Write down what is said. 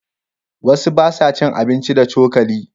Wasu ba sa cin abinci da cokali.